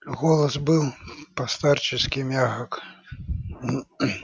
голос был по-старчески мягок